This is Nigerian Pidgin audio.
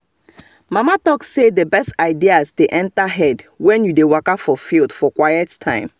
mama talk say the best ideas dey enter head when you dey waka for field for quit time